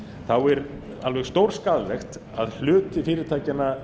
þá er alveg stórskaðlegt að hluti fyrirtækjanna